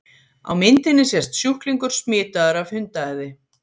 Á myndinni sést sjúklingur smitaður af hundaæði.